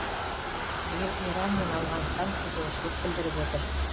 биыл иран мен ауғанстан қызығушылық білдіріп отыр